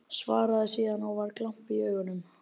Svaraði síðan, og var glampi í augunum